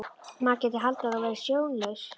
Maður gæti haldið að þú værir sjónlaus!